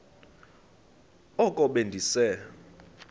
oko be ndise